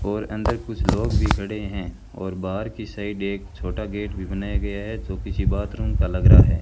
और अंदर कुछ लोग भी खड़े हैं और बाहर की साइड एक छोटा गेट भी बनाया गया है जो किसी बाथरूम का लग रहा है।